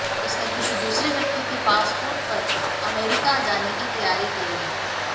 उसने किसी दूसरे व्यक्ति के पासपोर्ट पर अमेरिका जाने की तैयारी कर ली